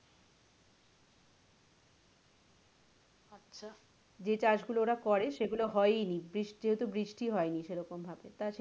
যে চাষ গুলো ওরা করে সেগুলো হয়েই নি যেহেতু বৃষ্টি হয়নি সেরকম ভাবে